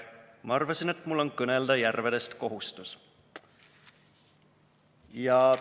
/ Ma arvasin, et mul on kõnelda järvedest kohustus.